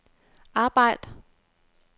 arbejd